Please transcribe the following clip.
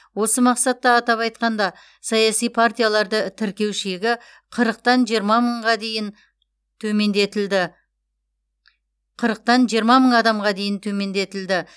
осы мақсатта атап айтқанда саяси партияларды тіркеу шегі қырықтан жиырма мыңға дейін төмендетілді қырықтан жиырма мың адамға дейін төмендетілді